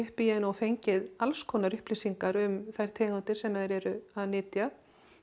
upp í henni og fengið alls konar upplýsingar um þær tegundir sem þeir eru að nytja